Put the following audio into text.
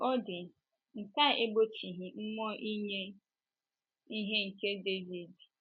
Otú ọ dị, nke a egbochighị mmụọ inye ihe nke Devid.